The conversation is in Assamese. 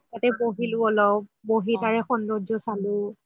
তাতে বহিলো অলপ বহি তাৰে সৌন্দৰ্য চালো